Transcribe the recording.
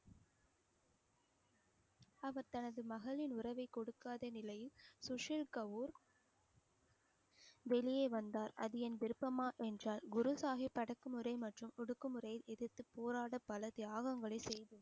அவர் தனது மகளின் உறவை கொடுக்காத நிலையில் சுசில் கவுர் வெளியே வந்தார் அது என் விருப்பமா என்றால் குரு சாகிப் அடக்குமுறை மற்றும் ஒடுக்குமுறையை எதிர்த்துப் போராட பல தியாகங்களை செய்துள்ளார்.